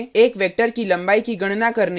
एक वेक्टर की लम्बाई की गणना करने में